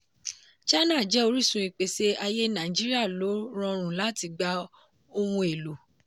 china jẹ́ orísun ìpèsè ayé nàìjíríà lo rọrùn láti gba ohun èlò.